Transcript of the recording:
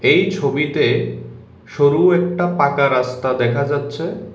এই ছবিতে সরু একটা পাকা রাস্তা দেখা যাচ্ছে।